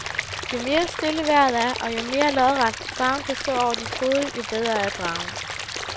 Jo mere stille vejret er og jo mere lodret, dragen kan stå over dit hoved, jo bedre er dragen.